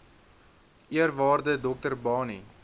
eerwaarde dr barney